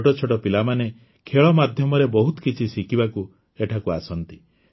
ଛୋଟ ଛୋଟ ପିଲାମାନେ ଖେଳ ମାଧ୍ୟମରେ ବହୁତ କିଛି ଶିଖିବାକୁ ଏଠାକୁ ଆସନ୍ତି